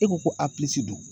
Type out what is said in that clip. E ko ko apilisi don.